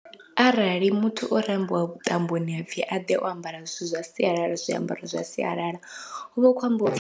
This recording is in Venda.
Arali muthu o rambiwa vhuṱamboni hapfhi a ḓe o ambara zwithu zwa sialala zwiambaro zwa sialala, huvha hu khou ambiwa upfhi.